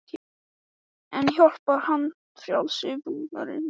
En hjálpar handfrjálsi búnaðurinn?